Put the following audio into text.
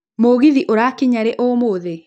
mũgithi ũrakinya rĩ ũmũthĩ